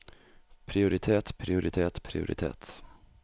prioritet prioritet prioritet